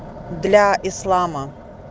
для ислама